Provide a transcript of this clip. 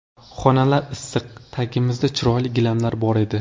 Xonalar issiq, tagimizda chiroyli gilamlar bor edi.